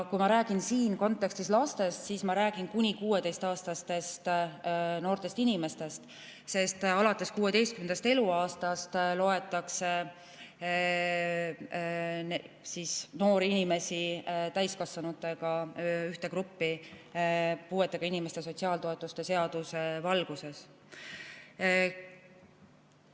Kui ma räägin siin kontekstis lastest, siis ma räägin kuni 16‑aastastest noortest inimestest, sest alates 16. eluaastast loetakse noori inimesi puuetega inimeste sotsiaaltoetuste seaduse valguses täiskasvanutega ühte gruppi.